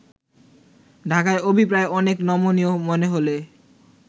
ঢাকার অভিপ্রায় অনেক নমনীয় মনে হলে